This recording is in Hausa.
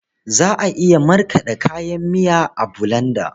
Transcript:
Za a iya markaɗe kayan miya a bulanda.